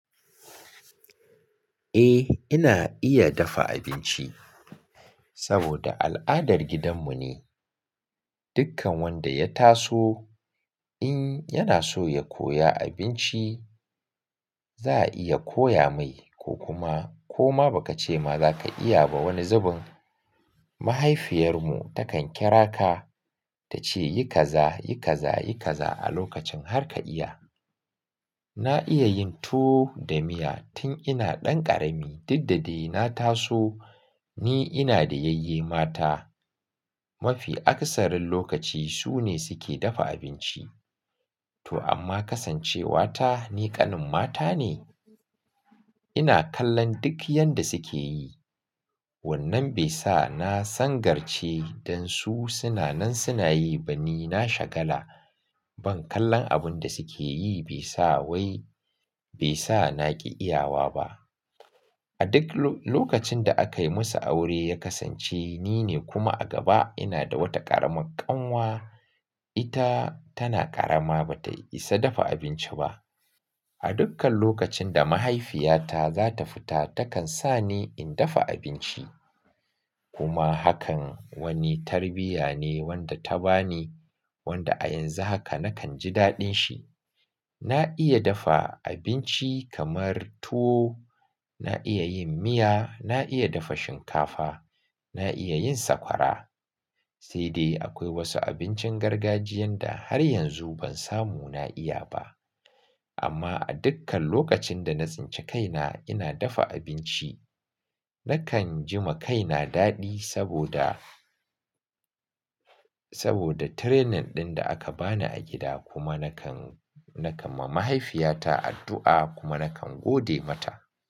Eh, ina iya dafa abinci saboda al'adar gidanmu ne. Dukkan wanda ya taso in yana so ya koya abinci, za a iya koya mai ko kuma ko ma ba ka ce ma za ka iya ba wani zubin, mahaifiyar mu ta kan kira ka ta ce, "yi kaza, yi kaza, yi kaza" a lokacin har ka iya. Na iya yin tuwo da miya tun ina ɗan ƙarami, duk da dai na taso ni ina da yayye mata. Mafi akasarin lokaci su ne suke dafa abinci. To amma kasancewa ta ni ƙanin mata ne. Ina kallon duk yanda suke yi. Wannan bai sa na sangarce dan su suna nan suna yi ba, ni na shagala. Ban kallon abun da suke yi bai sa wai bai sa na ƙi iyawa ba. A duk lokacin da akayi musu aure ya kasance ni ne kuma a gaba ina da wata ƙaramar ƙanwa, ita tana ƙarama ba tayi isa dafa abinci ba. A dukkan lokacin da mahaifiyata za ta fita takan sa ni in dafa abinci. Kuma hakan wani tarbiyya ne wanda ta bani wanda a yanzu haka nakan ji daɗin shi. Na iya dafa abinci kamar tuwo, na iya yin miya, na iya dafa shinkafa, na iya yin sakwara. Sai dai akwai wasu abincin gargajiyan da har yanzu ban samu na iya ba. Amma a dukkan lokacin da na tsince kaina ina dafa abinci, nakan jima kaina daɗi saboda, saboda training ɗin da aka bani a gida kuma nakan, nakan ma mahaifiyata addu'a kuma nakan gode mata.